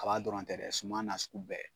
Kaba dɔrɔn tɛ dɛ, suman nasugu bɛɛ.